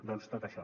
doncs tot això